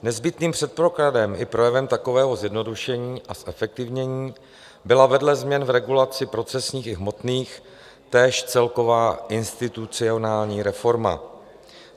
Nezbytným předpokladem i projevem takového zjednodušení a zefektivnění byla vedle změny v regulaci procesních i hmotných též celková institucionální reforma.